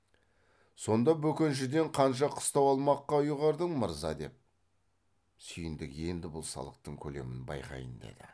сонда бөкеншіден қанша қыстау алмаққа ұйғардың мырза деп сүйіндік енді бұл салықтың көлемін байқайын деді